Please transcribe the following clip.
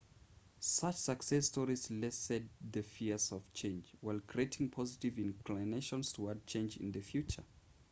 such success stories lessened the fears of change while creating positive inclinations toward change in the future